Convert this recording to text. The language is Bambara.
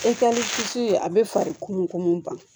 a bɛ fari kununko mun ban